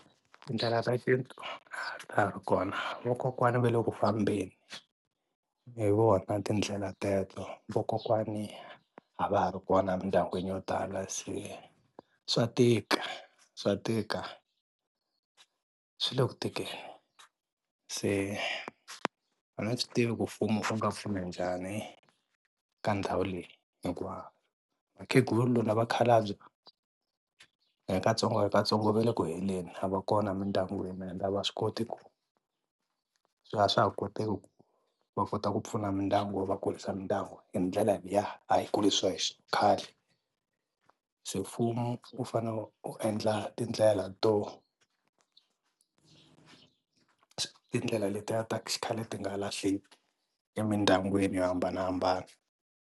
Tindlela ta xintu a ta ha ri kona vakokwana va le ku fambeni hi vona tindlela teto vakokwani a va ha ri kona emindyangwini yo tala se swa tika swa tika swi le ku tikeni se a ni swi tivi ku mfumo wu nga pfuna njhani ka ndhawu leyi hikuva vakhegula na vakhalabye ku ya hi katsongokatsongo va le ku heleni a va kona emindyangwini ende a va swi koti ku se a swa ha koteki ku va kota ku pfuna mindyangu va kurisa mindyangu hi ndlela liya a hi kurisiwe khale se mfumo wu fane wu endla tindlela to tindlela letiya ta xikhale ti nga lahleki emindyangwini yo hambanahambana.